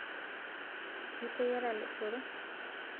Iteyiara lochoro?